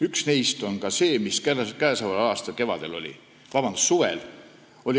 Üks neist on see, mis toimus käesoleva aasta suvel.